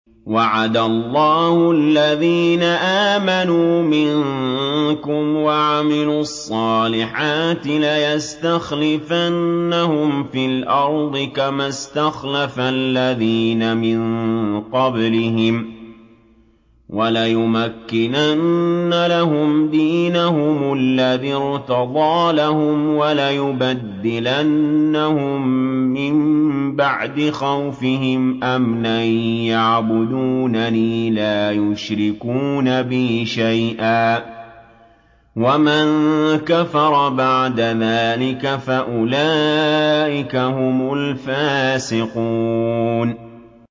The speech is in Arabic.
وَعَدَ اللَّهُ الَّذِينَ آمَنُوا مِنكُمْ وَعَمِلُوا الصَّالِحَاتِ لَيَسْتَخْلِفَنَّهُمْ فِي الْأَرْضِ كَمَا اسْتَخْلَفَ الَّذِينَ مِن قَبْلِهِمْ وَلَيُمَكِّنَنَّ لَهُمْ دِينَهُمُ الَّذِي ارْتَضَىٰ لَهُمْ وَلَيُبَدِّلَنَّهُم مِّن بَعْدِ خَوْفِهِمْ أَمْنًا ۚ يَعْبُدُونَنِي لَا يُشْرِكُونَ بِي شَيْئًا ۚ وَمَن كَفَرَ بَعْدَ ذَٰلِكَ فَأُولَٰئِكَ هُمُ الْفَاسِقُونَ